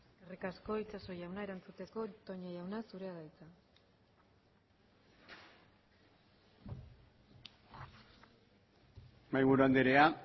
eskerrik asko itxaso jauna erantzuteko toña jauna zurea da hitza mahaiburu andrea